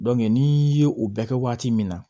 n'i ye o bɛɛ kɛ waati min na